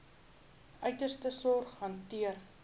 uiterste sorg hanteer